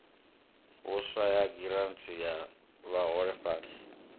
vhuswa ya giranthi ya vhaholefhali